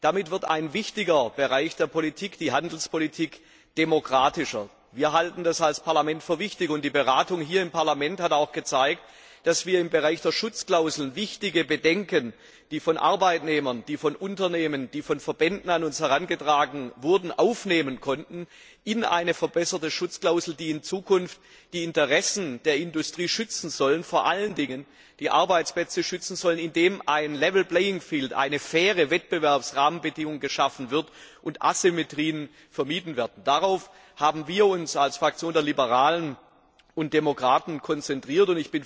Damit wird ein wichtiger Bereich der Politik die Handelspolitik demokratischer. Wir als Parlament halten das für wichtig. Die Beratung hier im Parlament hat auch gezeigt, dass wir, was Schutzklauseln anbelangt, wichtige Bedenken, die von Arbeitnehmern, von Unternehmen und von Verbänden an uns herangetragen wurden, aufnehmen konnten in eine verbesserte Schutzklausel, die in Zukunft die Interessen der Industrie und vor allen Dingen die Arbeitsplätze schützen soll, indem ein level playing field faire Wettbewerbsrahmenbedingungen geschaffen werden und Asymmetrien vermieden werden. Darauf haben wir uns als Fraktion der Liberalen und Demokraten konzentriert.